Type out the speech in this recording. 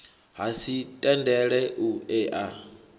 ha si tendele u ea